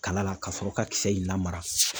Kala la ka sɔrɔ ka kisɛ in lamara.